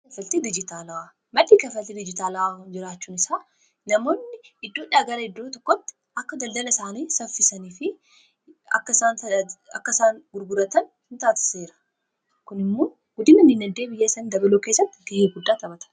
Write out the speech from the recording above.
madda dijjitaalawwaa ,maddii kafaltii diijitaalawaa jiraachuun isaa namoonni iddoo dha gara iddoo tokkotti akka daldala isaanii saffisanii fi akka isaan gurguratan in taasisa seera kun immo guddina biiyyaa isaanii dabaluu keessatti ga'ee guddaa taphata.